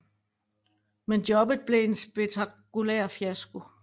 Men jobbet blev en spektakulær fiasko